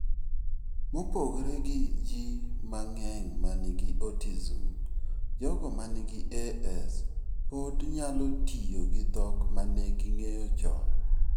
Mopogore gi ji mang'eny ma nigi autism, jogo ma nigi AS pod nyalo tiyo gi dhok ma ne ging'eyo chon.